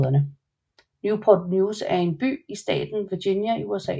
Newport News er en by i staten Virginia i USA